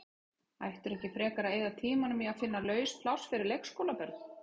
Ættirðu ekki frekar að eyða tímanum í að finna laus pláss fyrir leikskólabörn?